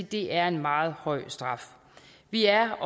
det er en meget høj straf vi er